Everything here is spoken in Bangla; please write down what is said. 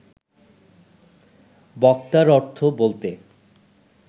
বক্তার অর্থ বলতে